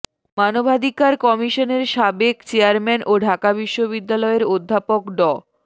মানবাধিকার কমিশনের সাবেক চেয়ারম্যান ও ঢাকা বিশ্ববিদ্যালয়ের অধ্যাপক ড